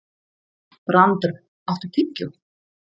Brandr, áttu tyggjó?